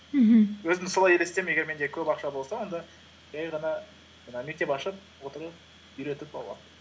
мхм өзімді солай елестеймін егер менде көп ақша болса онда жай ғана жаңағы мектеп ашып отырып үйретіп балаларды